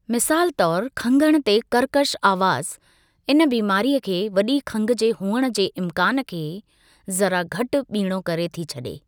मिसालु तौरु खंघणु ते कर्कश आवाज़ु इन बीमारीअ खे वॾी खंघि जे हुअण जे इम्कानु खे ज़रा घटि ॿीणो करे थी छॾे।